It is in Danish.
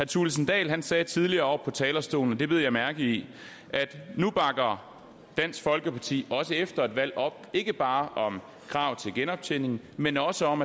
thulesen dahl sagde tidligere fra talerstolen det bed jeg mærke i at nu bakker dansk folkeparti også efter et valg op ikke bare om kravet til genoptjening men også om